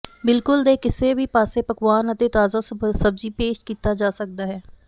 ਬਿੱਲਕੁਲ ਕੇ ਕਿਸੇ ਵੀ ਪਾਸੇ ਪਕਵਾਨ ਅਤੇ ਤਾਜ਼ਾ ਸਬਜ਼ੀ ਪੇਸ਼ ਕੀਤਾ ਜਾ ਸਕਦਾ ਹੈ